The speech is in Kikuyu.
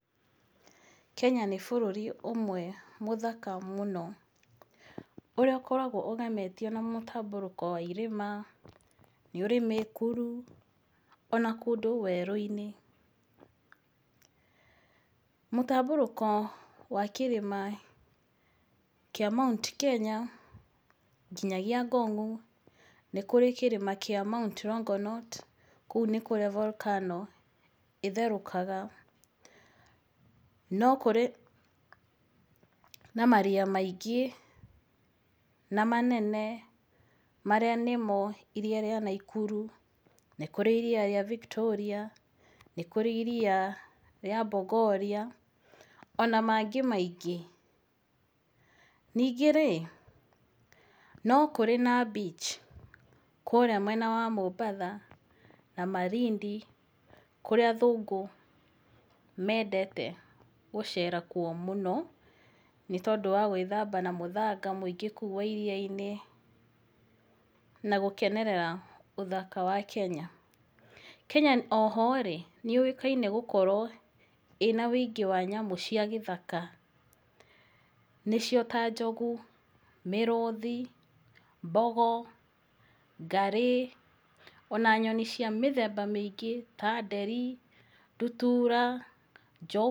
Kenya nĩ bũrũri ũmwe mũthaka mũno ũrĩa ũkoragwo ũgemetio na mũtambũrĩko wa irĩma, nĩ ũrĩ mĩkuru, ona kũndũ werũ-inĩ. Mũtambũrũko wa kĩrĩma kĩa Mount Kenya nginyagia Ngong nĩ kũrĩ kĩrĩma kĩa Mount Longonot, kũu nĩ kũrĩa volcano ĩtherũkaga. No kũrĩ na maria maingĩ na manene marĩa nĩmo Iria rĩa Nakuru, nĩkũrĩ Iria rĩa Victoria, nĩ kũrĩ Iria rĩa Bogoria, ona mangĩ maingĩ. Ningĩ rĩ, no kũrĩ na beach kũrĩa mwena wa Mombasa na Malindi kũrĩa athũngũ mendete gũcera kuo mũno, nĩ tondũ wa gwĩthamba na mũthanga wa mũingĩ kũu wa iria-inĩ na gũkenerera ũthaka wa Kenya. Kenya o ho rĩ, nĩ yũĩkaine gũkorwo ĩna ũingĩ wa nyamũ cia gĩthaka. Nĩcio ta njogu, mĩrũthi, mbogo, ngarĩ, ona nyoni cia mĩthemba mĩingĩ ta nderi, ndutura...